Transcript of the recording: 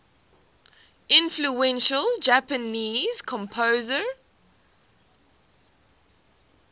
influential japanese composer